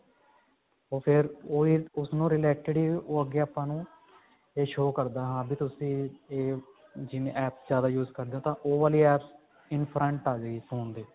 ਉਹ ਫੇਰ ਓਹੀ ਉਸਨੂੰ related ਹੀ ਉਹ ਅੱਗੇ ਆਪਾਂ ਨੂੰ ਇਹ show ਕਰਦਾ ਹਾਂ ਵੀ ਤੁਸੀਂ ਜਿਵੇਂ app ਜਿਆਦਾ use ਕਰਦੇ ਹੋ ਤਾਂ ਉਹ ਵਾਲੀ apps in front ਅਜੇਗੀ phone ਤੇ